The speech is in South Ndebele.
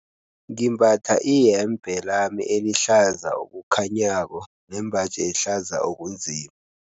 Ngimbatha iyembe lami elihlaza okukhanyako nembaji ehlaza okunzima.